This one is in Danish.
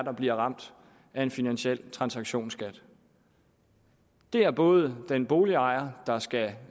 der bliver ramt af en finansiel transaktionsskat det er både den boligejer der skal